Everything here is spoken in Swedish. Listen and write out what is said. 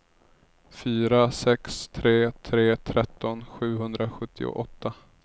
fyra sex tre tre tretton sjuhundrasjuttioåtta